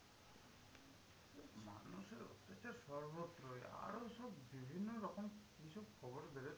সে সর্বত্রই, আরো সব বিভিন্ন রকম কিছু খবর বেরোচ্ছে।